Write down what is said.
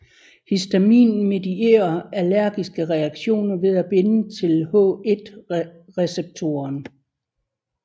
Histamin medierer allergiske reaktioner ved at binde til H1 receptoren